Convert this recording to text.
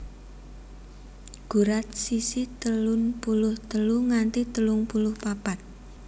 Gurat sisi telun puluh telu nganti telung puluh papat